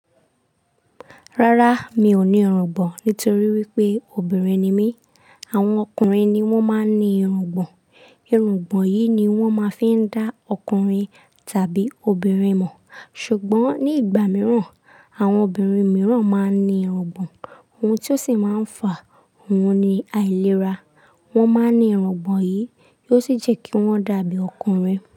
Rárá, mi ò ní irungbọ̀n nítorí wípé obìnrin ni mí. Àwọn ọkùnrin ni wón máa ń ní irungbọ̀n. Irungbọ̀n yìí ni wón máa ń fi dá ọkùnrin tàbí obìnrin mọ̀. Ṣùgbọ́n ní ìgbà mìíràn, àwọn obìnrin mìíràn máa ń ní irungbọ̀n, ohun tí ó sì máa ń fa òun ni àìlera. Wọ́n máa ń ní irungbọ̀n yìí, ó sì jẹ́ kí wọ́n dàbí ọkùnrin.